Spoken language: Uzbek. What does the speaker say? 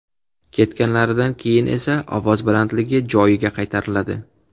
Ketganlaridan keyin esa ovoz balandligi joyiga qaytariladi.